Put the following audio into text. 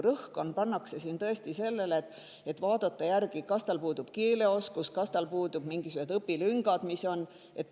Praegu pannakse suurim rõhk siin sellele, et vaadata, kas tal puudub keeleoskus, kas on mingisugused õpilüngad.